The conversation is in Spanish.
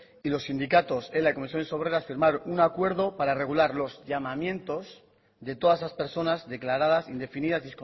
y los sindicatos ela y comisiones obreras firmaron un acuerdo para regular los llamamientos de todas esas personas declaradas indefinidas